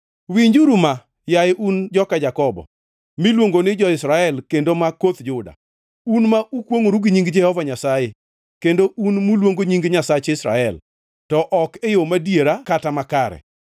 “Winjuru ma, yaye un joka Jakobo, miluongo ni jo-Israel kendo ma koth Juda, un ma ukwongʼoru gi nying Jehova Nyasaye kendo un muluongo nying Nyasach Israel, to ok e yo madiera kata makare;